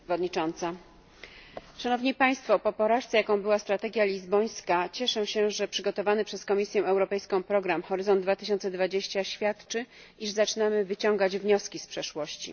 Pani Przewodnicząca! Po porażce, jaką była strategia lizbońska, cieszę się, że przygotowany przez Komisję program Horyzont 2020 świadczy, iż zaczynamy wyciągać wnioski z przeszłości.